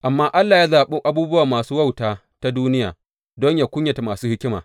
Amma Allah ya zaɓi abubuwa masu wautata duniya, don yă kunyata masu hikima.